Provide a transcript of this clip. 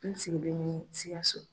N sigilen Sikaso.